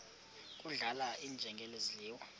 kudlala iinjengele zidliwa